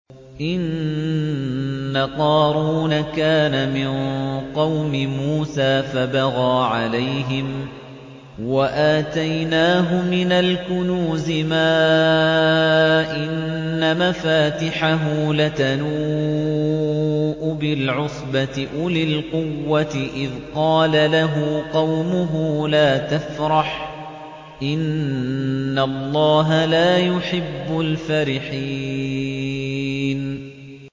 ۞ إِنَّ قَارُونَ كَانَ مِن قَوْمِ مُوسَىٰ فَبَغَىٰ عَلَيْهِمْ ۖ وَآتَيْنَاهُ مِنَ الْكُنُوزِ مَا إِنَّ مَفَاتِحَهُ لَتَنُوءُ بِالْعُصْبَةِ أُولِي الْقُوَّةِ إِذْ قَالَ لَهُ قَوْمُهُ لَا تَفْرَحْ ۖ إِنَّ اللَّهَ لَا يُحِبُّ الْفَرِحِينَ